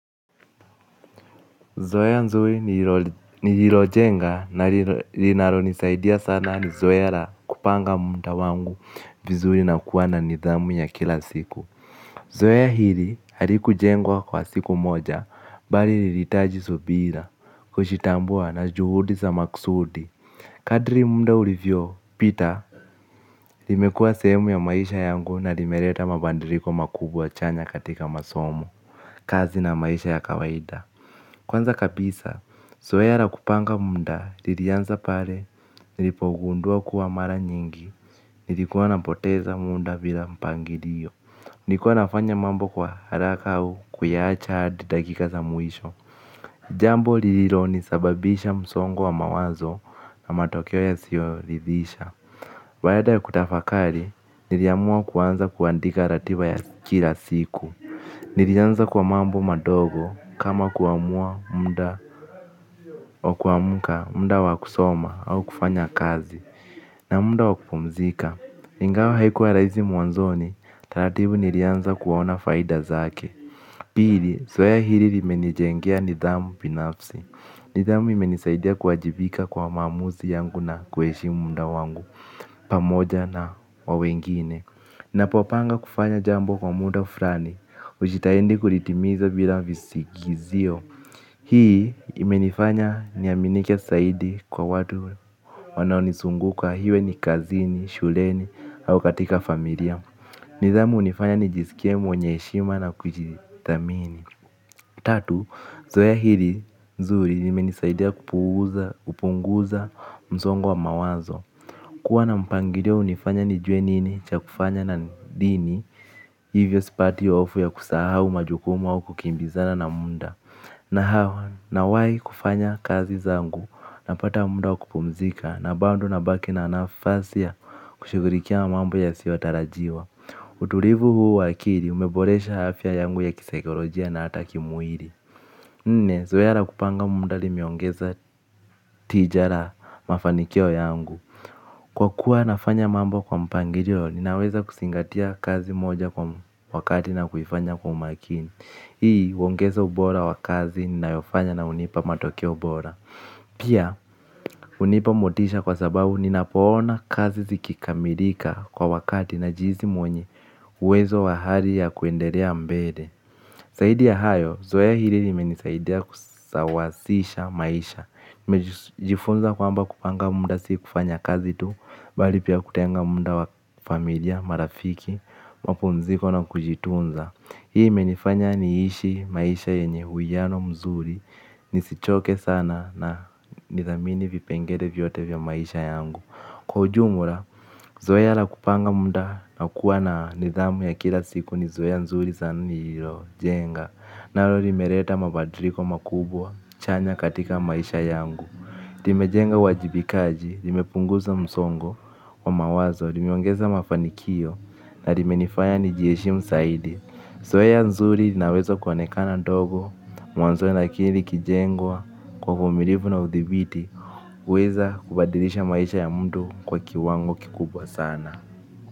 Zoea zuri nililojenga na linalonisaidia sana, ni zoea la kupanga muda wangu vizuri na kuwa na nidhamu ya kila siku. Zoea hili halikujengwa kwa siku moja, bali lilihitaji subira, kujitambua na juhudi za makusudi. Kadri muda ulivyopita, limekuwa sehemu ya maisha yangu na limeleta mabadiliko makubwa chanya katika masomo, kazi na maisha ya kawaida. Kwanza kabisa, zoea la kupanga muda, lilianza pale nilipogundua kuwa mara nyingi nilikuwa napoteza muda bila mpangilio. Nilikuwa nafanya mambo kwa haraka au kuyaacha dakika za mwisho. Jambo lililonisababishia msongo wa mawazo na matokeo yasiyoridhisha. Baada ya kutafakari, niliamua kuanza kuandika ratiba ya kila siku. Nilianza kwa mambo madogo kama kuamua muda wa kuamka, muda wa kusoma au kufanya kazi, na muda wa kupumzika. Ingawa haikuwa rahisi mwanzoni, taratibu nilianza kuona faida zake. Pili, zoea hili limenijengea nidhamu binafsi. Nidhamu imenisaidia kuwajibika kwa maamuzi yangu na kuheshimu muda wangu pamoja na wa wengine. Ninapopanga kufanya jambo kwa muda fulani, hujitahidi kulitimiza bila visingizio. Hii imenifanya niaminike zaidi kwa watu wanaonizunguka, iwe ni kazini, shuleni au katika familia. Nidhamu hunifanya nijisikie mwenye heshima na kujiamini. Tatu, zoea hili zuri limenisaidia kupunguza msongo wa mawazo. Kuwa na mpangilio, ninajua nini cha kufanya na lini, hivyo sipati hofu ya kusahau majukumu au kukimbizana na muda. Na hivyo, nawahi kufanya kazi zangu, napata muda wa kupumzika, na bado nabaki na nafasi ya kushughulikia mambo yasiyotarajiwa. Utulivu huu wa akili umeboresha afya yangu ya kisaikolojia na hata kimwili. Nne, zoea la kupanga muda limeongeza tija la mafanikio yangu. Kwa kuwa nafanya mambo kwa mpangilio, ninaweza kuzingatia kazi moja kwa wakati na kuifanya kwa umakini. Hii huongeza ubora wa kazi ninayofanya na hunipa matokeo bora. Pia, hunipa motisha kwa sababu ninapoona kazi zikikamilika kwa wakati, najihisi mwenye uwezo wa hali ya kuendelea mbele. Zaidi ya hayo, zoea hili limenisaidia kusawazisha maisha. Nimejifunza kwamba kupanga muda si kufanya kazi tu. Bali pia kutenga muda wa familia, marafiki, mapumziko na kujitunza. Hii imenifanya niishi maisha yenye uwiano mzuri nisichoke sana na nithamini vipengele vyote vya maisha yangu. Kwa ujumla, zoea la kupanga muda na kuwa na nidhamu ya kila siku ni zoezi zuri sana nililojenga. Nalo limeleta mabadiliko makubwa chanya katika maisha yangu. Limejenga uwajibikaji, limepunguza msongo wa mawazo, limeongeza mafanikio na limenifanya nijiheshimu zaidi. Zoezi zuri linaweza kuonekana dogo mwanzoni, lakini likijengwa kwa uvumilivu na udhibiti huweza kubadilisha maisha ya mtu kwa kiwango kikubwa sana.